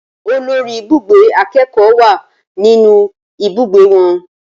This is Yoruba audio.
Olórí ibùgbé akẹ́kọ̀ọ́ wà nínú ibùgbé wọn